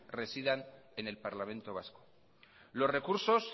residan en el parlamento vasco los recursos